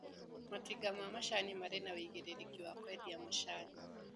Matinga ma macani marĩ na wĩigĩrĩrĩki wa kwendia macani.